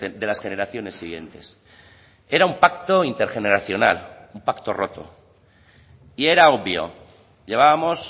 de las generaciones siguientes era un pacto intergeneracional un pacto roto y era obvio llevábamos